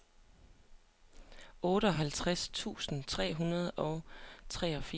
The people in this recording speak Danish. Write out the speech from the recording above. otteoghalvtreds tusind tre hundrede og treogfirs